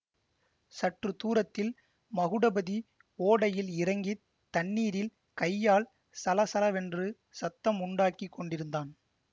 சற்று தூரத்தில் மகுடபதி ஓடையில் இறங்கி தண்ணீரில் கையால் சலசலவென்று சத்தம் உண்டாக்கி கொண்டிருந்தான்